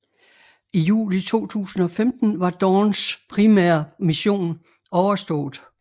I juli 2015 var Dawns primære mission overstået